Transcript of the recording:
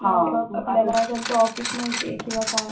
आपल्याला त्यांचं ऑफिस माहिती आहे किंवा काय